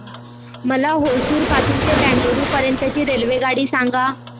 मला होसुर पासून तर बंगळुरू पर्यंत ची रेल्वेगाडी सांगा